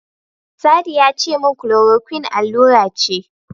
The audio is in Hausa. Sadi yace min Chloroquine allura ce.